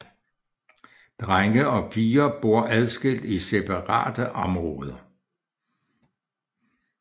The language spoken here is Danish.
Drenge og piger bor adskilt i separate områder